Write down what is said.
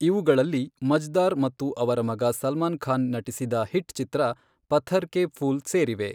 ಇವುಗಳಲ್ಲಿ ಮಜ್ದಾರ್ ಮತ್ತು ಅವರ ಮಗ ಸಲ್ಮಾನ್ ಖಾನ್ ನಟಿಸಿದ ಹಿಟ್ ಚಿತ್ರ ಪಥ್ಥರ್ ಕೆ ಫೂಲ್ ಸೇರಿವೆ.